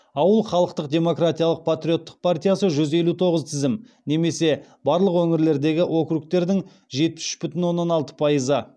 ауыл халықтық демократиялық патриоттық партиясы жүз елу тоғыз тізім немесе барлық өңірлердегі округтердің жетпіс үш бүтін оннан алты пайызы